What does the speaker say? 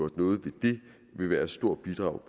noget ved det vil være et stort bidrag